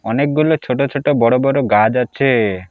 অনেকগুলো ছোট ছোট বড় বড় গাছ আছে।